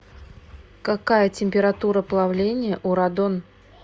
какая температура плавления у радон